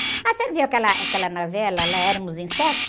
Ah, você não viu aquela, aquela novela, lá éramos em sete?